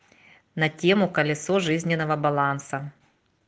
на тему колесо жизненного баланса